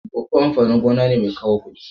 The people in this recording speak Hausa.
Koko amfanin gona mai kawo kudi ne.